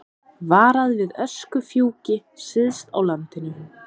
Varað við öskufjúki syðst á landinu